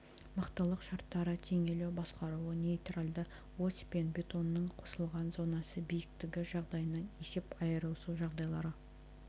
мықтылық шарттары теңелу басқаруы нейтралды ось пен бетонның қысылған зонасы биіктігі жағдайынан есеп айырысу жағдайлары